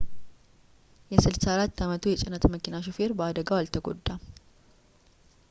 የ 64 ዓመቱ የጭነት መኪና ሾፌር በአደጋው አልተጎዳም